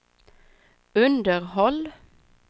underhåll